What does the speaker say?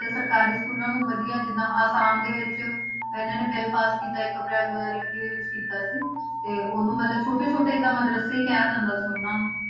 ਤਾਂ ਸਰਕਾਰੀ schools ਨੂੰ ਵਧੀਆ ਜਿੱਦਾਂ ਆਸਾਮ ਦੇ ਵਿੱਚ ਇਹਨਾਂ ਨੇ ਬਿੱਲ ਪਾਸ ਕੀਤਾ ਇੱਕ ਅਪ੍ਰੈਲ ਦੋ ਹਜ਼ਾਰ ਇੱਕੀ ਵਿੱਚ ਕੀਤਾ ਸੀ, ਤੇ ਉਦੋਂ ਮਤਲਬ ਛੋਟੇ ਛੋਟੇ ਏਦਾਂ ਮਦਰੱਸੇ ਹੀ ਕਿਹਾ ਜਾਂਦਾ ਸੀ ਉਹਨਾਂ ਨੂੰ